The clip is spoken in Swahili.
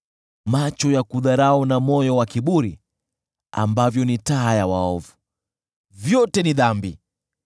Macho ya kudharau na moyo wa kiburi, ambavyo ni taa ya waovu, vyote ni dhambi!